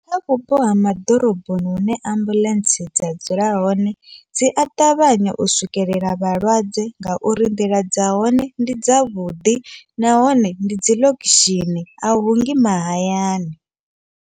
Kha vhupo ha ma ḓoroboni hune ambuḽentse dza dzula hone, dzi a ṱavhanya u swikelela vhalwadze ngauri nḓila dza hone ndi dza vhuḓi, nahone ndi dzi ḽokushini a hungi mahayani.